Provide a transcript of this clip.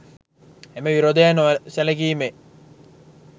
එම විරෝධය නො සැලකීමේ